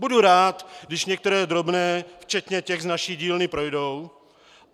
Budu rád, když některé drobné, včetně těch z naší dílny, projdou.